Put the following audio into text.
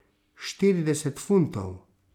Štirideset funtov?